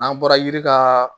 N'an bɔra yiri ka